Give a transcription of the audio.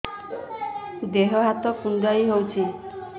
ଦେହ ହାତ କୁଣ୍ଡାଇ ହଉଛି